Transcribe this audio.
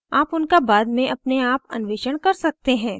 आप उनका बाद में अपने आप अन्वेषण कर सकते हैं